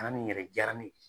An ni yɛrɛ diyara ne ye